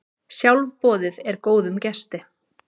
Sjálfboðið er góðum gesti.